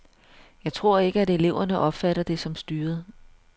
Jeg tror ikke, at eleverne opfatter det som styret.